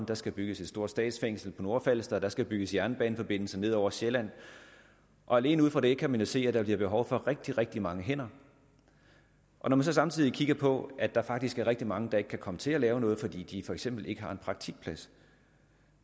der skal bygges et stort statsfængsel på nordfalster der skal bygges en jernbaneforbindelse ned over sjælland og alene ud fra det kan man jo se at der bliver behov for rigtig rigtig mange hænder når vi så samtidig kigger på at der faktisk er rigtig mange der ikke kan komme til at lave noget fordi de for eksempel ikke har en praktikplads